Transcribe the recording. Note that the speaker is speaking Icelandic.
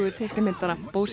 teiknimyndanna